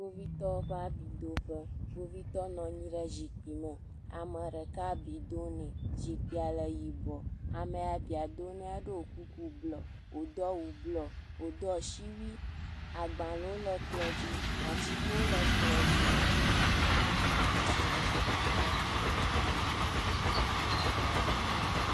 Kpovitɔwo ƒe abidoƒe. Kpovitɔ nɔ anyi ɖe zikpui me. Ame ɖeka abi dom nɛ, zikpui le yibɔ. Ame ya abia dom nɛ la ɖo kuku blɔ. Wodo asiwui, agbalẽwo le kplɔ̃ dzi. Atikewo le kplɔ̃ dzi.